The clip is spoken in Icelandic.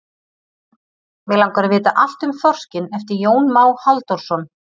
Mig langar að vita allt um þorskinn eftir Jón Má Halldórsson.